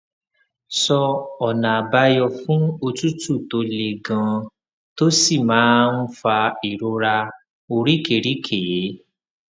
pẹlú èyí o lè nílò um ìtura ìtura àti ìjìnlẹ ìjìnlẹ fún àǹfààní pẹlú